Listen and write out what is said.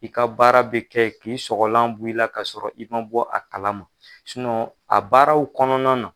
I ka baara bɛ kɛ k'i sɔgɔlan bu i la ka sɔrɔ i man bɔ a kalama a baaraw kɔnɔna na.